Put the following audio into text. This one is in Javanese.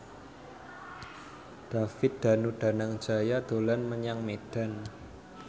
David Danu Danangjaya dolan menyang Medan